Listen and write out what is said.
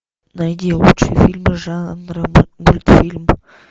найди лучшие фильмы жанра мультфильм